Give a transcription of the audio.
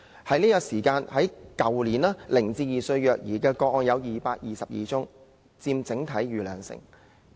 去年接獲0至2歲的虐兒個案有222宗，佔整體數目逾兩成。